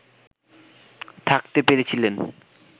থাকতে পেরেছিলেন